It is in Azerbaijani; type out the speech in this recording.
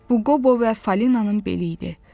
Bu Qobo və Falinanın beli idi.